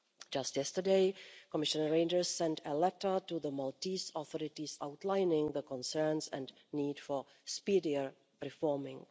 Just yesterday, Commissioner Reynders sent a letter to the Maltese authorities outlining the concerns and need for speedier reforming.